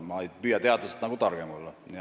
Ma ei püüa ka teadlastest targem olla.